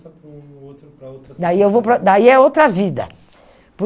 E aí você tem essa mudança para outra situação. Daí eu vou para, daí é outra vida. Por